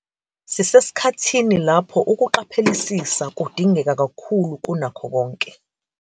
Sisesikhathini lapho ukuqaphelisisa kudingeka kakhulu kunakho konke.